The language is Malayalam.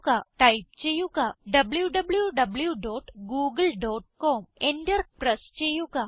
ടൈപ്പ് ചെയ്യുക W V dot Google dot com Enter press ചെയ്യുക